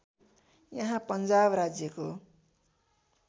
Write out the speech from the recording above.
यहाँ पन्जाब राज्‍यको